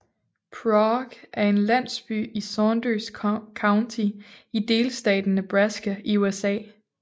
Prague er en landsby i Saunders County i delstaten Nebraska i USA